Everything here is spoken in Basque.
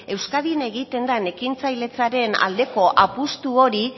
euskadin egiten dan ekintzailetzaren aldeko apustu hori